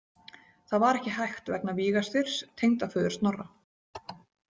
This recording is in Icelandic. Það var ekki hægt vegna Víga- Styrs, tengdaföður Snorra.